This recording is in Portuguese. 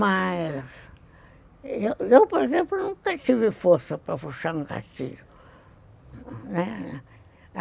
Mas... Eu, por exemplo, nunca tive força para puxar um gatilho, né.